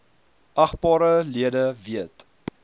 agbare lede weet